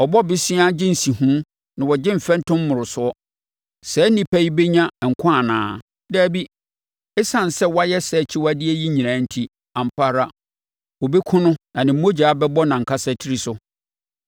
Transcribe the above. Ɔbɔ bosea gye nsiho na ɔgye mfɛntom mmorosoɔ. Saa onipa yi bɛnya nkwa anaa? Dabi! Esiane sɛ wayɛ saa akyiwadeɛ yi nyinaa enti, ampa ara, wɔbɛkum no na ne mogya bɛbɔ nʼankasa tiri so.